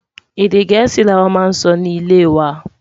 Èdè gèésì là wà má n sọ ní ilẹ wà